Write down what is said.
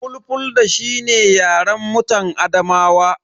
Fulfulde shi ne yaren mutan Adamawa.